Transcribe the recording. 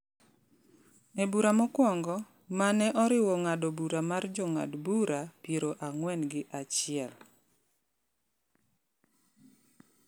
E bura mokwongo, ma ne oriwo ng’ado bura mar Jong'ad bura piero ang'wen gi achiel,